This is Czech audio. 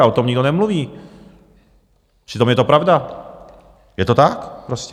Ale o tom nikdo nemluví, přitom je to pravda, je to tak prostě.